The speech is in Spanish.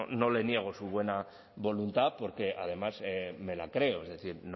no le niego su buena voluntad porque además me la creo es decir